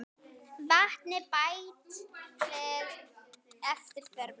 Vatni bætt við eftir þörfum.